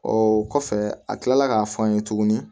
Ɔ kɔfɛ a kila la k'a f'an ye tuguni